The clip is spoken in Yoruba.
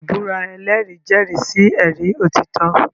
Ìbúra ẹlẹ́rìí jẹ́rìí sí ẹ̀rí òtítọ́.